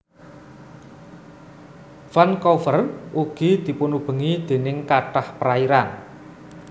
Vancouver ugi dipunubengi déning kathah perairan